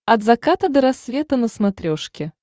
от заката до рассвета на смотрешке